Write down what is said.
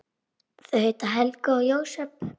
Þau heita Helga og Jósep.